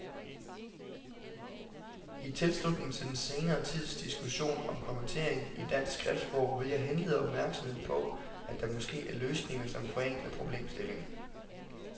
I tilslutning til den senere tids diskussion om kommatering i dansk skriftsprog vil jeg henlede opmærksomheden på, at der måske er løsninger, som forenkler problemstillingen.